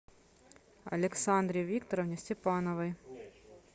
александре викторовне степановой